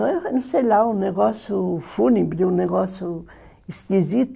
Eu não sei lá, um negócio fúnebre, um negócio esquisito.